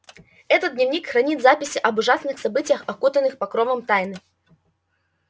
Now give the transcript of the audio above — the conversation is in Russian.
этот дневник хранит записи об ужасных событиях окутанных покровом тайны